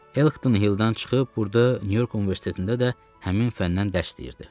Elkton Hilldən çıxıb burda Nyu-York Universitetində də həmin fəndən dərs deyirdi.